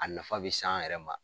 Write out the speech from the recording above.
A nafa bɛ se an yɛrɛ ma.